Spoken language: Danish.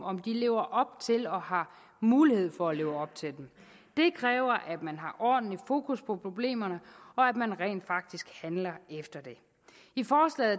om de lever op til og har mulighed for at leve op til dem det kræver at man har ordentlig fokus på problemerne og at man rent faktisk handler efter